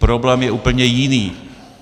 Problém je úplně jiný.